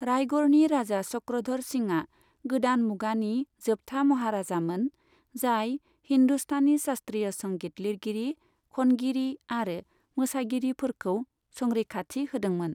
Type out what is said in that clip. रायगढ़नि राजा चक्रधर सिंआ गोदान मुगानि जोबथा महाराजामोन जाय हिन्दुस्तानी शास्त्रीय संगीत लिरगिरि, खनगिरि आरो मोसागिरिफोरखौ संरैखाथि होदोंमोन।